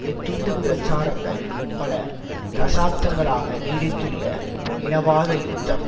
இத்துண்டுப் பிரச்சாரங்கள் பல தசாப்தங்களாக நீடித்துள்ள இனவாத யுத்தம்